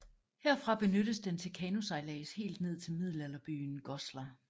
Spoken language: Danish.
Herfra benyttes den til kanosejlads helt ned til middelalderbyen Goslar